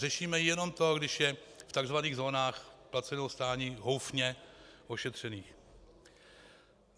Řešíme jenom to, když je v tzv. zónách placeného stání, houfně ošetřených.